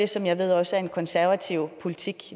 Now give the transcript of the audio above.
som jeg ved også er konservativ politik